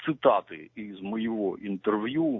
цитаты из моего интервью